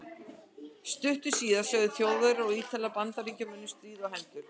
Stuttu síðar sögðu Þjóðverjar og Ítalir Bandaríkjamönnum stríð á hendur.